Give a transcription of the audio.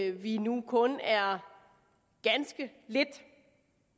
at vi nu kun er ganske lidt